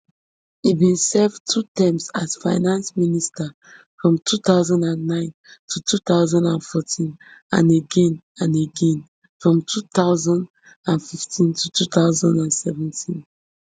e bin serve two terms as finance minister from two thousand and nine to two thousand and fourteen and again and again from two thousand and fifteen to two thousand and seventeen